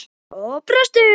Og brostu.